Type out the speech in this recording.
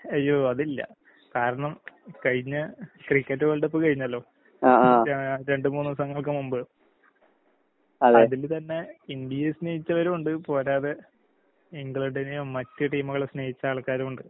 അയ്യോ അതില്ല. കാരണം കഴിഞ്ഞ ക്രിക്കറ്റ് വേൾഡ് കപ്പ് കഴിഞ്ഞല്ലോ, രാ രണ്ട് മൂന്ന് ദിവസങ്ങൾക്ക് മുമ്പ്. അതില് തന്നെ ഇന്ത്യയെ സ്നേഹിച്ചവരുവൊണ്ട് പോരാതെ ഇംഗ്ലണ്ടിനെയും മറ്റ് ടീംകളെ സ്നേഹിച്ചാൾക്കാരുവ്ണ്ട്.